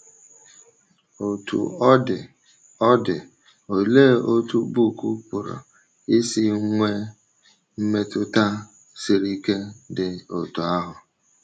Otú ọ dị ọ dị, olee otú book pụrụ isi nwee mmetụta siri ike dị otú ahụ?